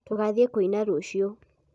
tũgathĩĩ kũina rũciũ